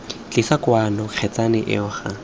tlisa kwano kgetsana eo ga